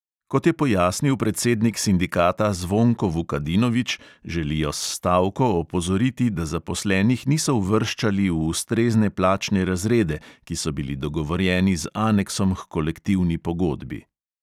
Kot je pojasnil predsednik sindikata zvonko vukadinovič, želijo s stavko opozoriti, da zaposlenih niso uvrščali v ustrezne plačne razrede, ki so bili dogovorjeni z aneksom h kolektivni pogodbi.